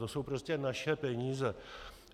To jsou prostě naše peníze.